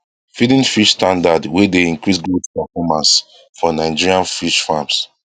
feeding fish standard wey dey increase growth performance for nigerian fish farms